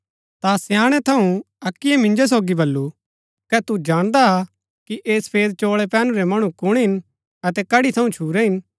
ता स्याणै थऊँ अक्कीयै मिंजो सोगी बल्लू कै तू जाणदा हा कि ऐह सफेद चोळै पैहनुरै मणु कुण हिन अतै कडी थऊँ छुरै हिन